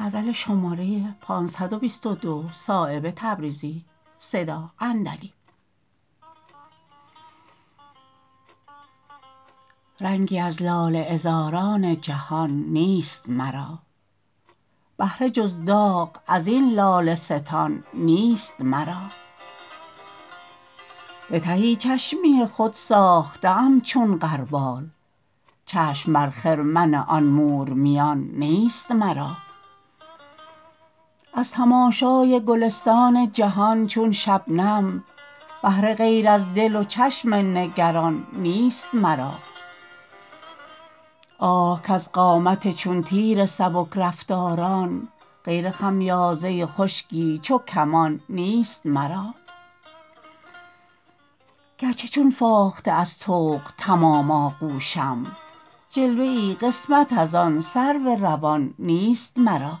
رنگی از لاله عذاران جهان نیست مرا بهره جز داغ ازین لاله ستان نیست مرا به تهی چشمی خود ساخته ام چون غربال چشم بر خرمن آن مورمیان نیست مرا از تماشای گلستان جهان چون شبنم بهره غیر از دل و چشم نگران نیست مرا آه کز قامت چون تیر سبکرفتاران غیر خمیازه خشکی چو کمان نیست مرا گرچه چون فاخته از طوق تمام آغوشم جلوه ای قسمت ازان سرو روان نیست مرا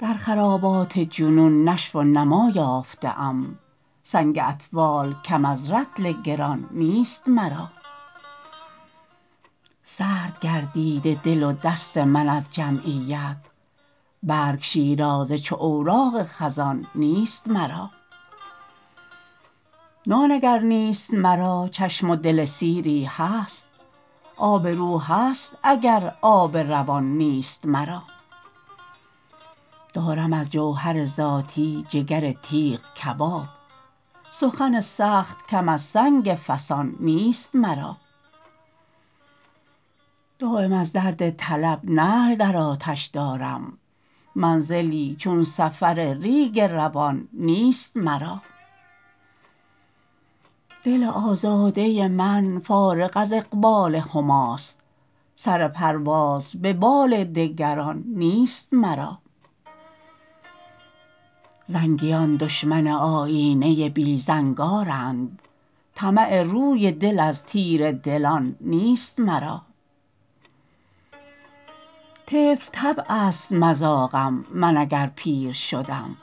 در خرابات جنون نشو و نما یافته ام سنگ اطفال کم از رطل گران نیست مرا سرد گردیده دل و دست من از جمعیت برگ شیرازه چو اوراق خزان نیست مرا نان اگر نیست مرا چشم و دل سیری هست آب رو هست اگر آب روان نیست مرا دارم از جوهر ذاتی جگر تیغ کباب سخن سخت کم از سنگ فسان نیست مرا دایم از درد طلب نعل در آتش دارم منزلی چون سفر ریگ روان نیست مرا دل آزاده من فارغ از اقبال هماست سر پرواز به بال دگران نیست مرا زنگیان دشمن آیینه بی زنگارند طمع روی دل از تیره دلان نیست مرا طفل طبع است مذاقم من اگر پیر شدم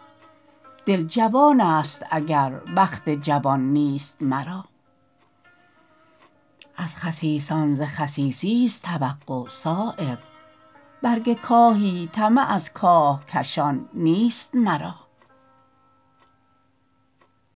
دل جوان است اگر بخت جوان نیست مرا از خسیسان ز خسیسی است توقع صایب برگ کاهی طمع از کاهکشان نیست مرا